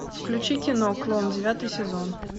включи кино клон девятый сезон